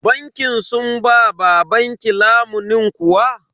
Bankin sun ba babanki lamunin kuwa?